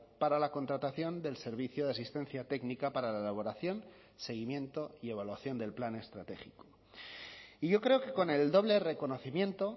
para la contratación del servicio de asistencia técnica para la elaboración seguimiento y evaluación del plan estratégico y yo creo que con el doble reconocimiento